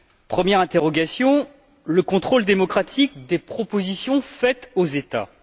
Première interrogation le contrôle démocratique des propositions faites aux États.